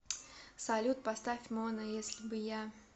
салют поставь мона если бы я